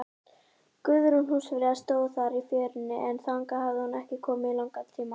Guðrún húsfreyja stóð þar í fjörunni, en þangað hafði hún ekki komið í langan tíma.